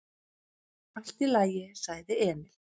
"""Allt í lagi, sagði Emil."""